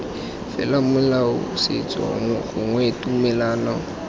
fela molao setso gongwe tumelano